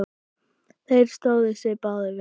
Þeir stóðu sig báðir vel.